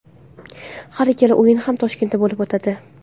Har ikkala o‘yin ham Toshkentda bo‘lib o‘tadi.